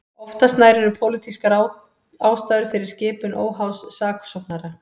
Oftast nær eru pólitískar ástæður fyrir skipun óháðs saksóknara.